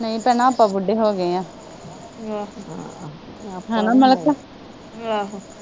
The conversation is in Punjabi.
ਨਹੀਂ ਭੈਣਾਂ ਆਪਾ ਬੁੱਢੇ ਹੋਗੇ ਆ ਹੈਨਾ ਮਲਿਕਾ